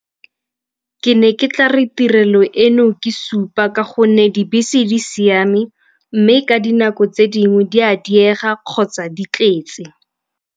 Ke ne ke tla re tirelo eno ke supa ka gonne dibese di siame mme ka dinako tse dingwe di a diega kgotsa di tletse.